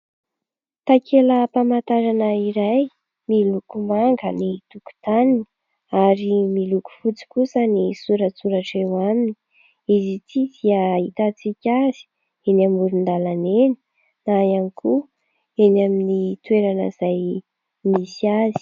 Takelam-pamantarana iray miloko manga ny tokotaniny ary miloko fotsy kosa ny soratsoratra eo aminy. Izy ity dia ahitantsika azy eny amoron- dalana eny na ihany koa eny amin'ny toerana izay misy azy.